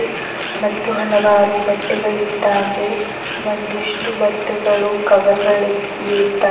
ಮತ್ತು ಹಲವಾರು ಬಟ್ಟೆಗಳಿದ್ದಾವೆ ಒಂದಿಷ್ಟು ಬಟ್ಟೆಗಳು ಕವರ್ ಗಳಿದ್ದಾ--